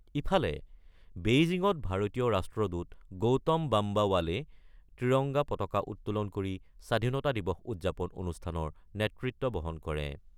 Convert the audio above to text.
ইফালে, বেইজিঙত ভাৰতীয় ৰাষ্ট্ৰদূত গৌতম বাম্বা ৱালে ত্ৰিৰংগা পতাকা উত্তোলন কৰি স্বাধীনতা দিৱস উদযাপন অনুষ্ঠানৰ নেতৃত্ব বহন কৰে।